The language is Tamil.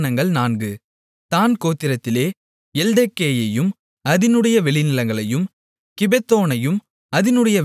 தாண் கோத்திரத்திலே எல்தெக்கேயையும் அதினுடைய வெளிநிலங்களையும் கிபெத்தோனையும் அதினுடைய வெளிநிலங்களையும்